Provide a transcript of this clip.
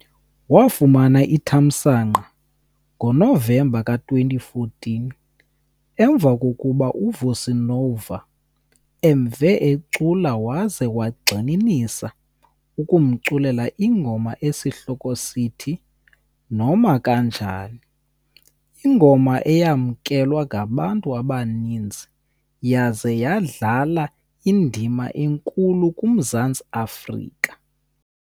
Wafumana ithamsanqa ngoNovemba ka-2014 emva kokuba uVusi Nova emve ecula waze wagxininisa ekumculeleni ingoma esihloko sithi, "Noma Kanjani", ingoma eyamkelwa ngabantu abaninzi yaze yadlala indima enkulu kuMzantsi Afrika.